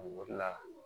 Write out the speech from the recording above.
O de la